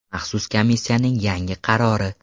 Maxsus komissiyaning yangi qarori.